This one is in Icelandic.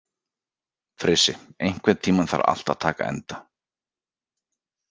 Frissi, einhvern tímann þarf allt að taka enda.